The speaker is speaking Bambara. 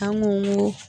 An ko n ko